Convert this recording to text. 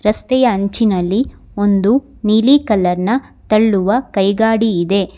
ರಸ್ತೆಯ ಅಂಚಿನಲ್ಲಿ ಒಂದು ನೀಲಿ ಕಲರ್ ನ ತಳ್ಳುವ ಕೈಗಾಡಿ ಇದೆ.